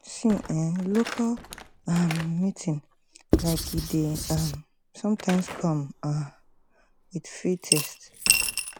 see eh local um meeting like eeh dey um sometimes come um with free test